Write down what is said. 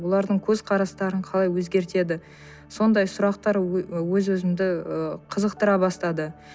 олардың көзқарастарын қалай өзгертеді сондай сұрақтар өз өзімді ы қызықтыра бастады